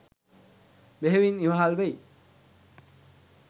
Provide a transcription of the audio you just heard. බෙහෙවින් ඉවහල්වෙයි.